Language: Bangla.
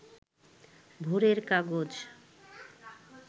ভোরের কাগজ